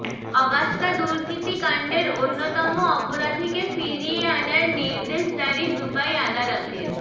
Agusta দুর্নীতি কাণ্ডের অন্যতম অপরাধীকে ফিরিয়ে আনার নির্দেশ জারি দুবাই আদালতের